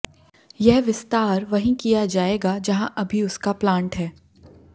यह विस्तार वहीं किया जाएगा जहां अभी उसका प्लांट है